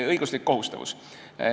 Õiguslik kohustavus.